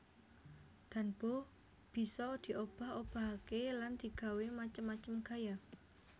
Danbo bisa diobah obahaké lan digawé macem macem gaya